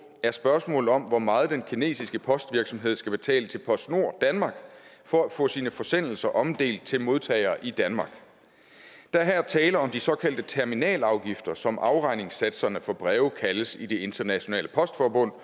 er spørgsmålet om hvor meget den kinesiske postvirksomhed skal betale til postnord danmark for at få sine forsendelser omdelt til modtagere i danmark der er her tale om de såkaldte terminalafgifter som afregningssatserne for breve kaldes i det internationale postforbund